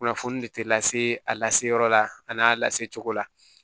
Kunnafoni de tɛ lase a lase yɔrɔ la a n'a lase cogo la